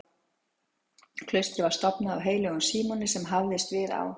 Klaustrið var stofnað af heilögum Símoni sem hafðist við á